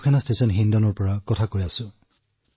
বায়ুসেনা ষ্টেচন হিন্দনৰ পৰা কৈছো